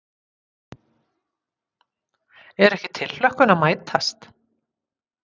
Er ekki tilhlökkun að mætast?